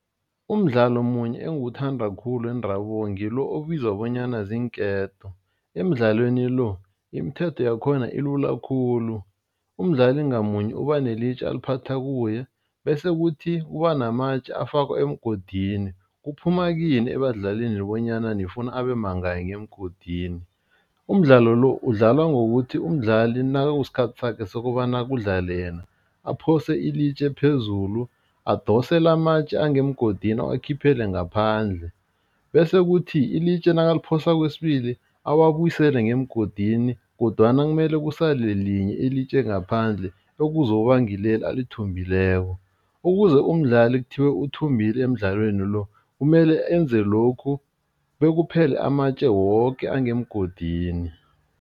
Umdlalo omunye engiwuthanda khulu wendabuko ngilo obizwa bonyana ziinketo, emidlalweni lo, imithetho yakhona ilula khulu, umdlali ngamunye ubanelitje aliphatha kuye bese kuthi kuba namatje afakwa emgodini, kuphuma kuyini ebadlalini bonyana nifuna abemangaki ngemgodini. Umdlalo lo udlalwa ngokuthi umdlali nakusikhathi sakhe sokobana kudlale yena aphose ilitje phezulu, adose lamatje angemgodini awakhiphele ngaphandle bese kuthi ilitje nakaliphosa kwesibili, awabusele ngemgodini kodwana kumele kusale elinye ilitje ngaphandle ekuzoba ngileli alithumbileko, ukuze umdlali kuthiwe uthumele emidlalweni lo, kumele enze lokhu bekuphele amatje woke angemgodini.